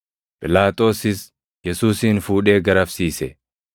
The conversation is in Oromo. Phiilaaxoosis Yesuusin fuudhee garafsiise.